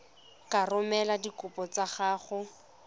ka romela dikopo tsa gago